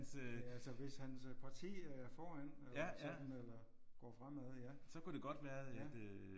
Ja altså hvis hans parti er foran eller sådan eller går fremad ja